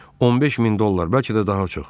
15 min dollar, bəlkə də daha çox.